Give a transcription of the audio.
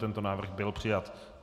Tento návrh byl přijat.